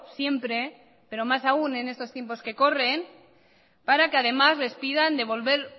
siempre pero más aún en estos tiempos que corren para que además les pidan devolver